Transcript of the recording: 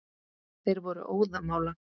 Þeir voru óðamála.